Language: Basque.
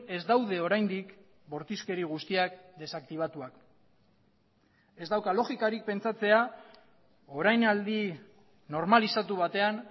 ez daude oraindik bortizkeri guztiak desaktibatuak ez dauka logikarik pentsatzea orainaldi normalizatu batean